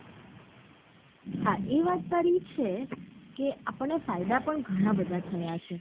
હા એ વાત તારી છે કે આપણ ને ફાયદા પણ ગાના બધા થયા છે.